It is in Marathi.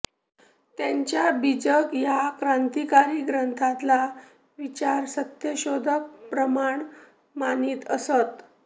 त्यांच्या बीजक या क्रांतिकारी ग्रंथातला विचार सत्यशोधक प्रमाण मानित असत